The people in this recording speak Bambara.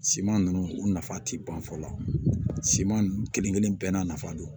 Siman nunnu u nafa ti ban fɔ la siman kelen kelen bɛɛ n'a nafa don